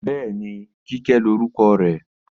Bẹ́ẹ̀ni, Kíkẹ́ lórúkọ rẹ̀